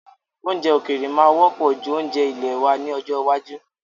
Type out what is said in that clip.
Oúnjẹ òkèèrè máa wọ́pọ̀ ju oúnjẹ ilèe wa lọ ní ọjọ́ iwájú.